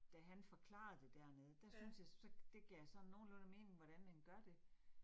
Da han forklarede det dernede, der syntes jeg, så det gav sådan nogenlunde mening, hvordan den gør det